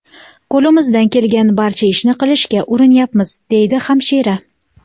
Qo‘limizdan kelgan barcha ishni qilishga urinyapmiz”, deydi hamshira.